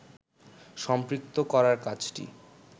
সম্পৃক্ত করার কাজটি